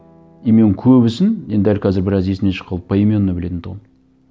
и мен көбісін енді дәл қазір біраз есімнен шығып қалды поименно білетін тұғым